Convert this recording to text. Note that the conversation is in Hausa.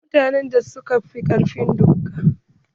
Akwai mutanen da ba su fi ƙarfin doka ba.